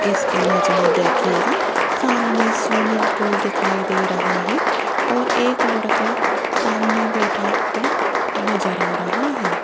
इस इमेज में देखिएगा सामने स्विमिंग पूल दिखाई दे रहा है और एक लड़का सामने बैठा हुआ नजर आ रहा है।